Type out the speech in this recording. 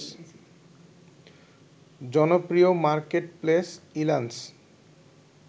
জনপ্রিয় মার্কেটপ্লেস ইল্যান্স